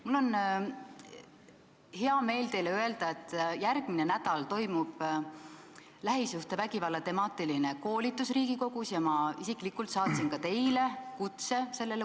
Mul on hea meel teile öelda, et järgmine nädal toimub Riigikogus lähisuhtevägivalla teemal koolitus ja ma isiklikult saatsin ka teile kutse.